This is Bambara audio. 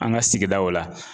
An ka sigidaw la